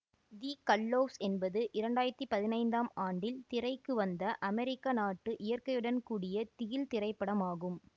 தி gallows என்பது இரண்டாயிரத்தி பதினைந்தாம் ஆண்டில் திரைக்கு வந்த அமெரிக்க நாட்டு இயற்கையுடன் கூடிய திகில் திரைப்படம் ஆகும்